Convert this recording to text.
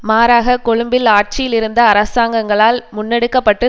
மாறாக கொழும்பில் ஆட்சியில் இருந்த அரசாங்கங்களால் முன்னெடுக்க பட்டு